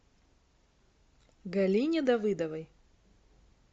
галине давыдовой